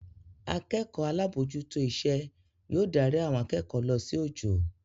Akẹ́kọ̀ọ́ alábòójútó iṣẹ́ yóò darí àwọn akẹ́kọ̀ọ́ lọ sí ojo